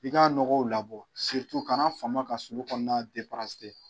F'i ka nɔgɔw labɔ kana fama ka sulu kɔnɔna